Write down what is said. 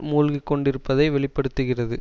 மூழ்கிக்கொண்டிருப்பதை வெளி படுத்துகிறது